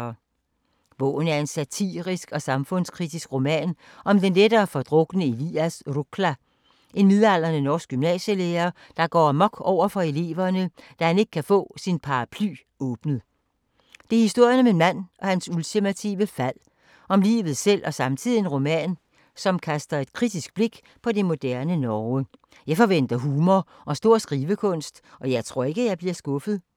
Bogen er en satirisk og samfundskritisk roman om den lettere fordrukne Elias Rukla, en midaldrende norsk gymnasielærer, der går amok over for eleverne, da han ikke kan få sin paraply åbnet. Det er historien om en mand og hans ultimative fald, om livet selv og samtidig en roman, som kaster et kritisk blik på det moderne Norge. Jeg forventer humor og stor skrivekunst, og jeg tror ikke, at jeg bliver skuffet.